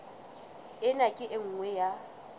ena ke e nngwe ya